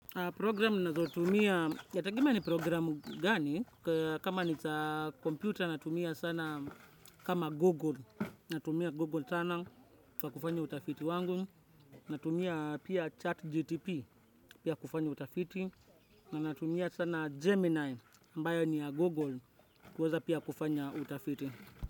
Programu nnazo tumia, yategemea ni programu gani, kama niza computer natumia sana kama google, natumia google channel kwa kufanya utafiti wangu, natumia pia chat gtp pia kufanya utafiti, na natumia sana gemini ambayo ni ya google kuweza pia kufanya utafiti.